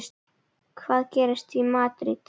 Hvað gerist í Madríd?